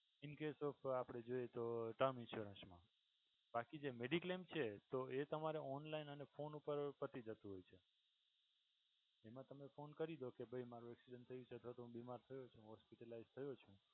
in case of આપણે જોઈએ તો term insurance મા બાકી જે mediclaim છે તો એ તમારે online અને phone ઉપર પતી જતું હોય છે. એમ તમે ફોન કરી ડો કે ભઈ મારુ એક્સિડેન્ટ થયું છે કા તો હું બીમાર થયો છું હોસ્પીલઇજ થયો છું.